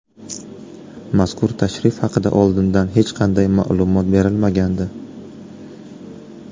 Mazkur tashrif haqida oldindan hech qanday ma’lumot berilmagandi.